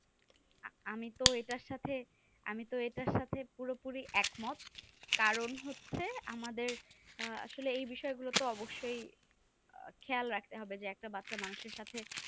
আমি তো এটাই সাথে আমি তো এটাই সাথে পুরো পুরি একমত কারণ হচ্ছে আমাদের এই বিষয় গুলকে অবশ্য খেয়াল রাখতে হবে যে একটা বাচ্চা মানুষ এর সাথে